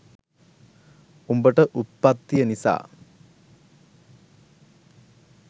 උඹට උත්පත්තිය නිසා